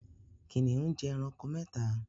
Kìnìún jẹ ẹranko mẹ́ta